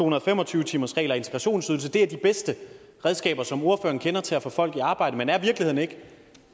og fem og tyve timersreglen og integrationsydelsen er de bedste redskaber som ordføreren kender til at få folk i arbejde men er virkeligheden ikke